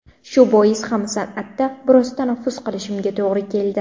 Shu bois ham san’atda biroz tanaffus qilishimga to‘g‘ri keldi.